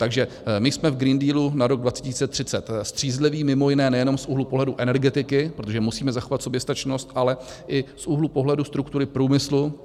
Takže my jsme v Green Dealu na rok 2030 střízliví mimo jiné nejenom z úhlu pohledu energetiky, protože musíme zachovat soběstačnost, ale i z úhlu pohledu struktury průmyslu.